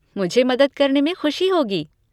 मुझे मदद करने में ख़ुशी होगी।